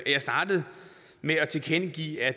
jeg startede med at tilkendegive at